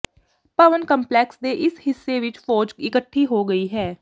ਭਵਨ complex ਦੇ ਇਸ ਹਿੱਸੇ ਵਿਚ ਫ਼ੌਜ ਇਕੱਠੀ ਹੋ ਗਈ ਹੈ